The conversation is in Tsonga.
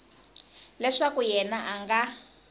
leswaku yena a a nga